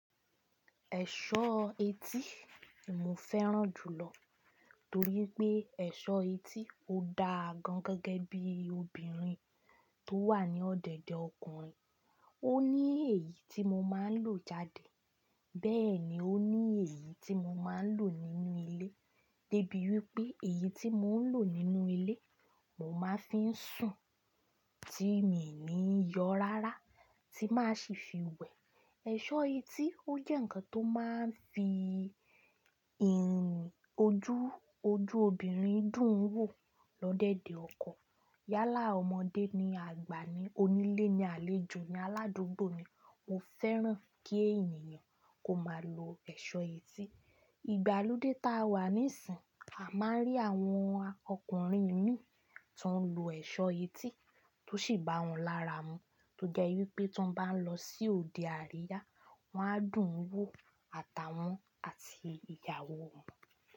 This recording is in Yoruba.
Ẹ̀ṣọ́ etí mo fẹ́ràn jùlọ torí pé ẹ̀ṣọ́ etí ó da gan gẹ́gẹ́ bí obìnrin tó wà ní ọ̀dẹ̀dẹ̀ ọkùnrin. Ó ní èyí tí mo máa ń lò jáde, bẹ́ẹ̀ ni ó ní èyí tí mo máa ń lò nínú ilé. Débi wípé èyí tí mò ń lò nínú ilé, mo máa ń fi sùn tí mi ní yọ rárá tí máa sì fi wẹ̀. Ẹ̀ṣọ́ etí ó jẹ́ ǹkan tó máa ń fi ìrìn ojú, ojú obìnrin dùn wò lọdẹ́dẹ̀ ọkọ. Yálà ọmọdé ni àgbà ni, onílé ni àlejò ni, aládùúgbò ni. Mo fẹ́ràn kí ènìyàn kó máa lo ẹ̀ṣọ́ etí. Ìgbàlódé táa wà níìsín, a máa ń rí àwọn ọkùnrin mí tí wọ́n ń lo ẹ̀ṣọ́ etí tó sì bá wọn lára mu. Tó jẹ́ wípé tí wọ́n bá ń lọ sí òde àríyá, wọ́n á dùn wò àtàwọn àti ìyàwó wọn.